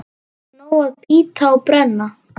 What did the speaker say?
Nóg að bíta og brenna.